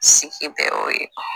Sigi bɛɛ y'o ye